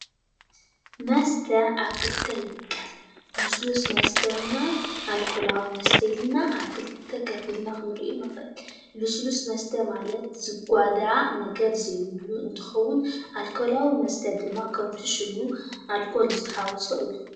መስተ ኣብ ክልተ ይምቀል ልሱሉስ መስተ እና ኣልኮላዊ መስተ ኢልና ኣብ ክልተ ከፊልና ክንሪኦ ንክእል ልሱሉስ መስተ ማለት ዝጓዳእ ነገር ዘይብሉ እንትኮዉን ኣልኮላዊ መስተ ድማ ከምቲ ሽሙ ኣልኮል ዝተሓወሶ እዩ።